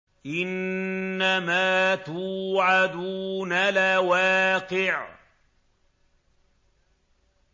إِنَّمَا تُوعَدُونَ لَوَاقِعٌ